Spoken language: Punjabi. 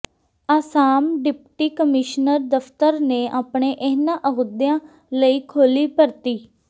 ਆਸਾਮ ਡਿਪਟੀ ਕਮਿਸ਼ਨਰ ਦਫ਼ਤਰ ਨੇ ਆਪਣੇ ਇਹਨਾਂ ਅਹੁਦਿਆਂ ਲਈ ਖੋਲ੍ਹੀ ਭਰਤੀ